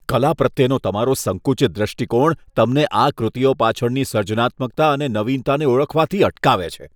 કલા પ્રત્યેનો તમારો સંકુચિત દૃષ્ટિકોણ તમને આ કૃતિઓ પાછળની સર્જનાત્મકતા અને નવીનતાને ઓળખવાથી અટકાવે છે.